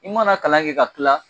I mana kalan kɛ ka tila